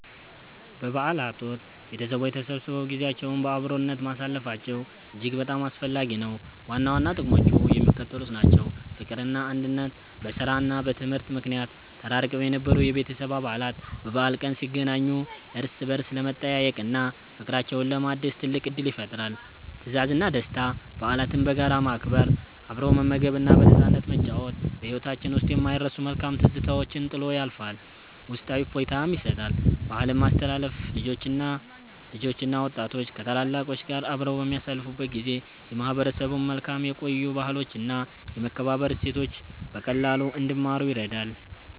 በበዓላት ወቅት ቤተሰቦች ተሰብስበው ጊዜያቸውን በአብሮነት ማሳለፋቸው እጅግ በጣም አስፈላጊ ነው። ዋና ዋና ጥቅሞቹ የሚከተሉት ናቸው፦ ፍቅርና አንድነት፦ በሥራና በትምህርት ምክንያት ተራርቀው የነበሩ የቤተሰብ አባላት በበዓል ቀን ሲገናኙ እርስ በርስ ለመጠያየቅና ፍቅራቸውን ለማደስ ትልቅ ዕድል ይፈጥራል። ትዝታና ደስታ፦ በዓላትን በጋራ ማክበር፣ አብሮ መመገብና በነፃነት መጨዋወት በሕይወታችን ውስጥ የማይረሱ መልካም ትዝታዎችን ጥሎ ያልፋል፤ ውስጣዊ እፎይታም ይሰጣል። ባህልን ማስተላለፍ፦ ልጆችና ወጣቶች ከታላላቆች ጋር አብረው በሚያሳልፉበት ጊዜ የማህበረሰቡን መልካም የቆዩ ባህሎችና የመከባበር እሴቶች በቀላሉ እንዲማሩ ይረዳል።